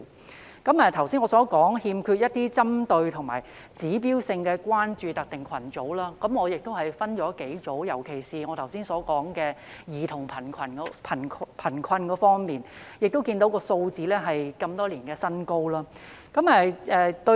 我剛才提到欠缺針對性和指標性關注特定群組，我把這些群組分成幾類。尤其是我剛才所說的兒童貧困這方面，我們看到有關數字是多年來的新高，對於......